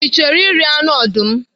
Ị chọrọ iri anụ ọdụm?